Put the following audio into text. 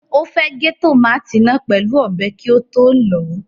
Ó fẹ́ gé tòmátì náà pẹ̀lú ọ̀bẹ kí ó tó lọ̀ ọ́.